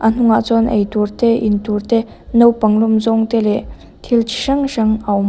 a hnung ah chuan ei tur te in tur te naupang lawm zawng te leh thil chi hrang hrang a awm.